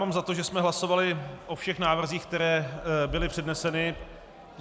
Mám za to, že jsme hlasovali o všech návrzích, které byly předneseny.